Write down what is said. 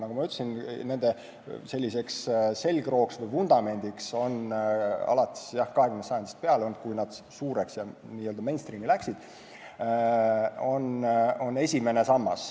Nagu ma ütlesin, nende selgrooks või vundamendiks on alates siis 20. sajandist peale olnud, kui nad suureks said ja n-ö mainstream'i läksid, esimene sammas.